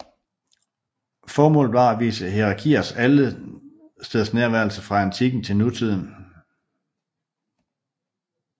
Formålet var at vise hierarkiers allestedsnærværelse fra antikken til nutiden